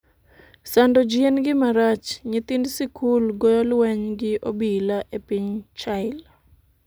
sando ji en gima rach, Nyithind sikul goyo lweny gi obila e piny Chile